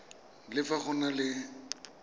le fa go na le